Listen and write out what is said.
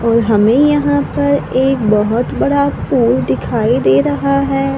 और हमें यहां पर एक बहोत बड़ा पोल दिखाई दे रहा है।